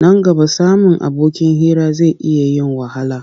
Nan gaba samun abokin hira zai iya yin wahala.